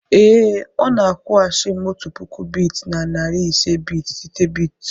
ee, ọ na-akwụghachi m otu puku bit na narị ise bit site bit.